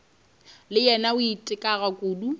le yena a itekago kudu